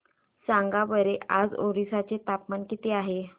सांगा बरं आज ओरिसा चे तापमान किती आहे